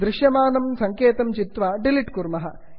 दृश्यमानं सङ्केतं चित्वा डिलिट् कुर्मः